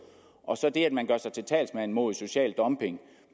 og så det at man gør sig til talsmænd mod social dumping